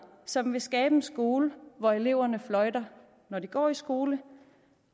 som vil skabe en skole hvor eleverne fløjter når de går i skole